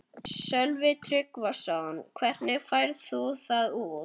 Sölvi Tryggvason: Hvernig færð þú það út?